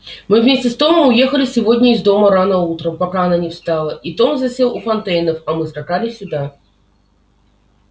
мы вместе с томом уехали сегодня из дома рано утром пока она не встала и том засел у фонтейнов а мы скакали сюда